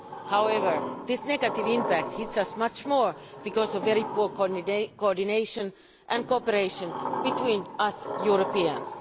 However, this negative impact hits us much more because of the very poor coordination and cooperation between us Europeans.